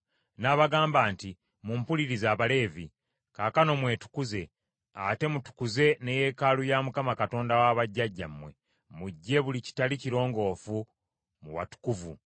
n’abagamba nti, “Mumpulirize Abaleevi, kaakano mwetukuze, ate mutukuze ne yeekaalu ya Mukama Katonda wa bajjajjammwe, muggye buli kitali kirongoofu mu watukuvu.